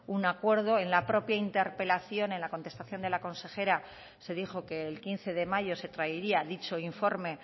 un acuerdo en la propia interpelación en la contestación de la consejera se dijo que el quince de mayo se traería dicho informe